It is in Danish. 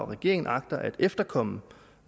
regeringen agter at efterkomme